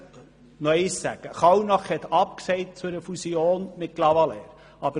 Kallnach hat zu einer Fusion mit Clavaleyres nein gesagt.